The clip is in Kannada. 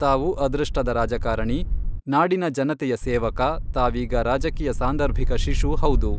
ತಾವು ಅದೃಷ್ಟದ ರಾಜಕಾರಣಿ, ನಾಡಿನ ಜನತೆಯ ಸೇವಕ, ತಾವೀಗ ರಾಜಕೀಯ ಸಾಂದರ್ಭಿಕ ಶಿಶು ಹೌದು.